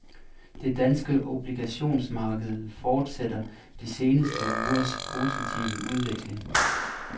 Det danske obligationsmarked fortsætter de seneste ugers positive udvikling.